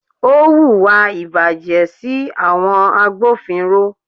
Ó hùwà ìbàjẹ́ sí àwọn agbófinró.